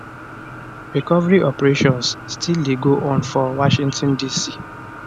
recovery operations still dey go on for washington dc